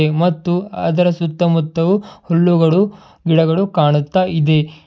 ಮತ್ತು ಅದರ ಸುತ್ತಮುತ್ತು ಹುಲ್ಲುಗಳು ಗಿಡಗಳು ಕಾಣುತ್ತಾ ಇದೆ.